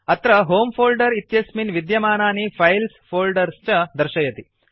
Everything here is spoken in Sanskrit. अत्र होमे फोल्डर इत्यस्मिन् विद्यमानानि फाइल्स् फोल्डर्स् च दर्शयति